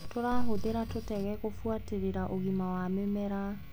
Tũrahũthira tũtege kũbuatĩrĩra ũgima wa mĩmera.